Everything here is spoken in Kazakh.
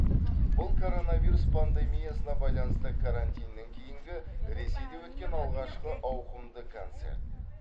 бұл коронавирус пандемиясына байланысты карантиннен кейінгі ресейде өткен алғашқы ауқымды концерт